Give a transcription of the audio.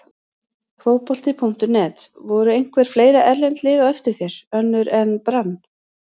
Fótbolti.net: Voru einhver fleiri erlend lið á eftir þér, önnur en Brann?